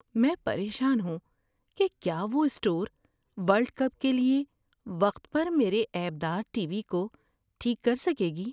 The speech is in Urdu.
میں پریشان ہوں کہ کیا وہ اسٹور ورلڈ کپ کے لیے وقت پر میرے عیب دار ٹی وی کو ٹھیک کر سکے گی۔